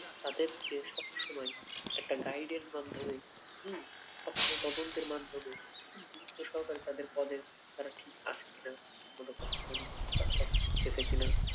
তাদের কে সবসময় একটা guide এর মাধ্যমে উম সবসময় তদন্তের মাধ্যমে গুরুত্ব সহকারে তাদের পদে তারা ঠিক আছে কিনা ঠিকমতো কাজ কাজকর্ম করতেছে কি না